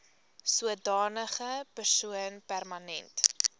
sodanige persoon permanent